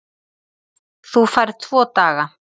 Þú færð tvo daga.